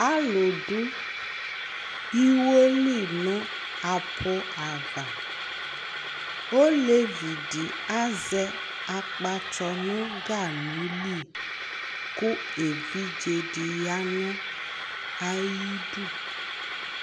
alò do iwo li no aƒu ava olevi di azɛ akpatsɔ no ganu li k'evidze di ya no ayi du